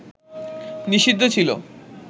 নিষিদ্ধ ছিল